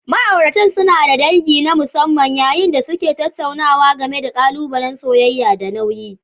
Ma'auratan suna da dangi na musamman yayin da suke tattaunawa game da ƙalubalen soyayya da nauyi.